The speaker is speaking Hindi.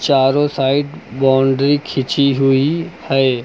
चारों साइड बाउंड्री खींची हुई है।